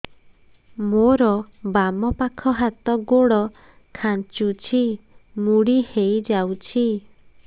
ମୋର ବାମ ପାଖ ହାତ ଗୋଡ ଖାଁଚୁଛି ମୁଡି ହେଇ ଯାଉଛି